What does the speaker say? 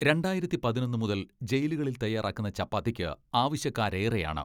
രണ്ടായിരത്തി പതിനൊന്ന് മുതൽ ജയിലുകളിൽ തയാറാക്കുന്ന ചപ്പാത്തിക്ക് ആവശ്യക്കാരേറെയാണ്.